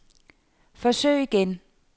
forsøg igen